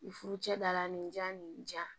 I furu cɛ da la nin ja nin ja